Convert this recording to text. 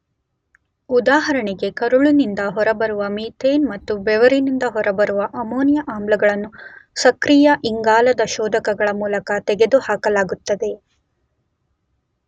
ಉದಾಹರಣೆಗೆ ಕರುಳಿನಿಂದ ಹೊರಬರುವ ಮೀಥೇನ್ ಮತ್ತು ಬೆವರಿನಿಂದ ಹೊರಬರುವ ಅಮೋನಿಯ ಆಮ್ಲಗಳನ್ನು ಸಕ್ರಿಯ ಇಂಗಾಲದ ಶೋಧಕಗಳ ಮೂಲಕ ತೆಗೆದುಹಾಕಲಾಗುತ್ತದೆ.